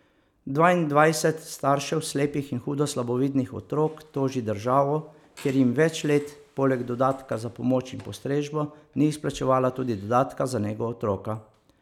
Dvaindvajset staršev slepih in hudo slabovidnih otrok toži državo, ker jim več let, poleg dodatka za pomoč in postrežbo ni izplačevala tudi dodatka za nego otroka.